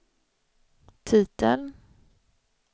titeln